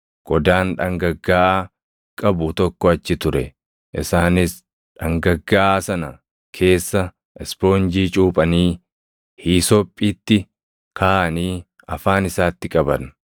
Qodaan dhangaggaaʼaa qabu tokko achi ture; isaanis dhangaggaaʼaa sana keessa ispoonjii cuuphanii hiisophiitti kaaʼanii afaan isaatti qaban.